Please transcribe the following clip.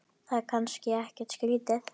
Það er kannski ekkert skrýtið?